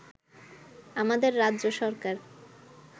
আমাদের রাজ্য সরকার